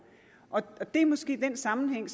og det er måske den sammenhæng